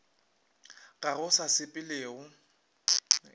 ga go se sa sepelego